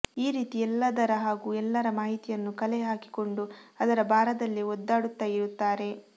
ಈ ರೀತಿ ಎಲ್ಲದರ ಹಾಗೂ ಎಲ್ಲರ ಮಾಹಿತಿಯನ್ನು ಕಲೆ ಹಾಕಿಕೊಂಡು ಅದರ ಭಾರದಲ್ಲೇ ಒದ್ದಾಡುತ್ತಾ ಇರುತ್ತಾರೆ